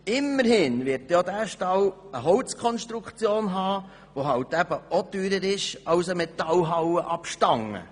Immerhin wird auch dieser Stall eine Holzkonstruktion haben, die eben auch teurer ist als eine Metallhalle ab Stange.